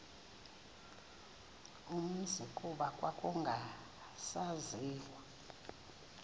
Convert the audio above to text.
umzi kuba kwakungasaziwa